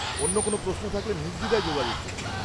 অন্য কোন প্রশ্ন থাকলে নির্দ্বিধায় যোগাযোগ করুন।